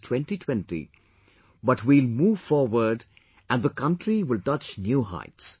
2020, but we will move forward and the country will touch new heights